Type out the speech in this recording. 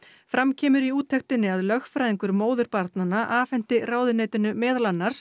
fram kemur í úttektinni að lögfræðingur móður barnanna afhenti ráðuneytinu meðal annars